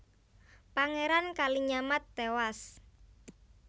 Pangeran Kalinyamat tewas